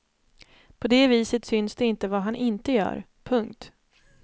På det viset syns det inte vad han inte gör. punkt